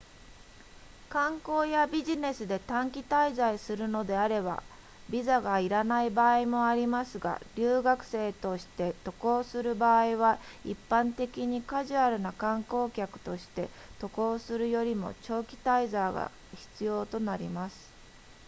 観光やビジネスで短期滞在するのであればビザがいらない場合もありますが留学生として渡航する場合は一般的にカジュアルな観光客として渡航するよりも長期滞在が必要となります